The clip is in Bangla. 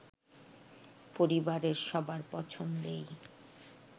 পরিবারের সবার পছন্দেই